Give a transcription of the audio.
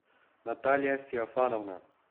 наталья феофановна